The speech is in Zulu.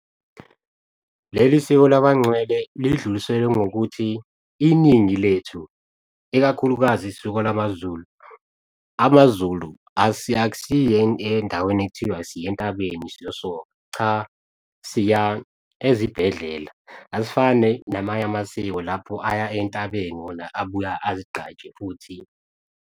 Leli siko laba ngcwele lidluliselwe ngokuthi iningi lethu, ikakhulukazi isiko lamaZulu, amazulu akusiye endaweni ekuthiwa siyentabeni siyosoka. Cha, siya ezibhedlela, asifani namanye amasiko lapho aya entabeni wona abuya azigqaje futhi.